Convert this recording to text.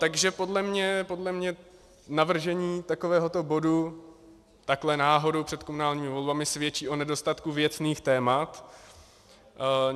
Takže podle mě navržení takovéhoto bodu takhle náhodou před komunálními volbami svědčí o nedostatku věcných témat.